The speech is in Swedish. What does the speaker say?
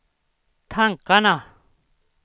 tankarna